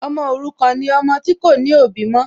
Ọmọ òrukàn ni ọmọ tí kò ní òbí mọ́